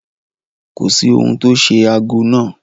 Kò sí ohun tó ṣe ago náà.